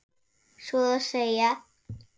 Svo að segja.